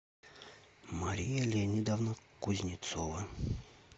мария леонидовна кузнецова